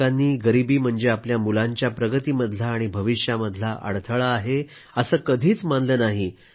ज्या पालकांनी गरीबी म्हणजे आपल्या मुलांच्या प्रगतीमधला आणि भविष्यामधला अडथळा आहे असं कधीच मानलं नाही